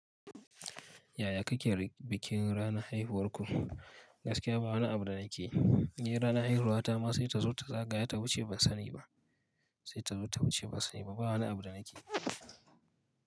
Yaya kake bikin ranar haihuwar ku? Gaskiya ba ni abu da nake yi. Ranar haihuwata ma sai ta zo ta zagaya ta wuce ban sani ba, sai ta wuce ban sani ba. Ba wani abu da nake.